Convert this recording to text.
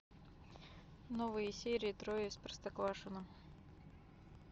новые серии трое из простоквашино